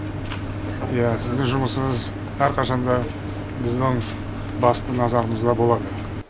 иә сіздің жұмысыңыз әрқашан да біздің басты назарымызда болады